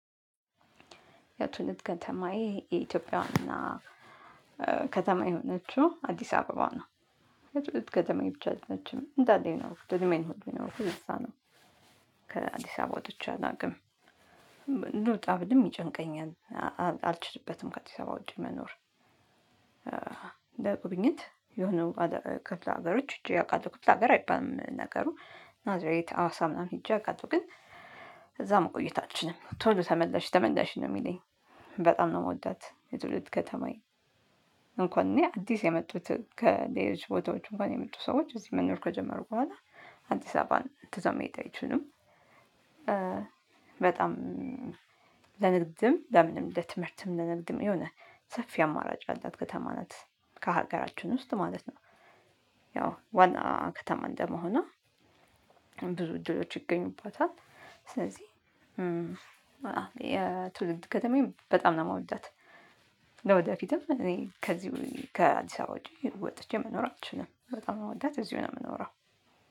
የትውልድ ከተማዬ የኢትዮጵያ ዋና ከተማ የሆነችው አዲስ አበባ ነው። የትውልድ ከተማዬ ብቻ አይደለችም እንዳለ እድሜን ሁሉ ይኖርኩት እነሳ ነው። ከአዲስ አበባ ወጥቼ አድናቅም ልውጣ ብልም ይጨንቀኛል አልችልበትም ከአዲስ አበባ ወጪ መኖር። ለጉብኝት የሆነ ክፍለ ሀገሮች ሂጀ አውቃለው ክፍለ ሀገር አይባልም ነገሩ ናዝሬት ሀዋሳ ምናምን ሄጄ አውቃለሁ ግን እዛ መቆየት አልችልም ቶሎ ተመለሽ ተመለሽ ነው የሚለኝ። በጣም ነው እምወዳት የትውልድ ከተማዬን እንኳን እኔ አዲስ የመጡት ከሌሎች ቦታዎች እንኳን የመጡ ሰዎች እዚህ መኖር ከጀመሩ በኋላ አዲስ አበባን ትተው መሄድ አይችሉም። በጣም ለንግድም ለምንም ለትምህርትም ለንግድም የሆነ ሰፊ አማራጭ ያላት ከተማ ናት ከሀገራችን ውስጥ ማለት ነው። ያው ዋና ከተማ እንደመሆኖ ብዙ እድሎች ይገኙባታል። ስለዚህ የትውልድ ከተማዬ በጣም ነው እምወዳት። ለወደፊቱም እኔ ከዚው ከአዲስ አበባ ወጥቼ መኖር አልችልም በጣም ነው እምወዳት እዚሁ ነው እምኖረው።